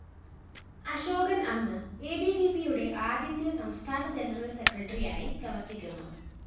അശോകന്‍ അന്ന് എബിവിപിയുടെ ആദ്യത്തെ സംസ്ഥാന ജനറൽ സെക്രട്ടറിയായി പ്രവര്‍ത്തിക്കുന്നു